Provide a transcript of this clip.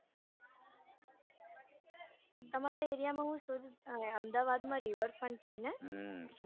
તમારા area માં અમદાવાદમાં rever front છે ને હમ